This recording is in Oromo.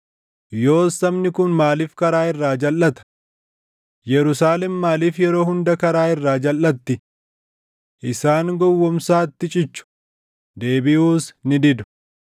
Yoos sabni kun maaliif karaa irraa jalʼata? Yerusaalem maaliif yeroo hunda karaa irraa jalʼatti? Isaan gowwoomsaatti cichu; deebiʼuus ni didu.